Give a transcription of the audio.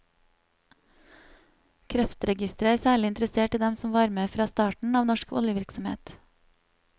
Kreftregisteret er særlig interessert i dem som var med fra starten av norsk oljevirksomhet.